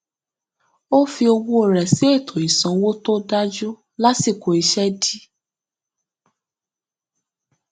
ó fi owó rẹ sí ètò ìsanwó tó dájú lásìkò iṣẹ dí